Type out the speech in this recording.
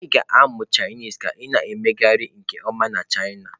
Ị ga-amụ Chinese ka ị na-emegharị nke ọma na china.